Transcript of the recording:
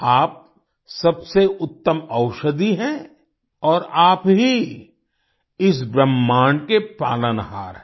आप सबसे उत्तम औषधि हैं और आप ही इस ब्रह्मांड के पालनहार हैं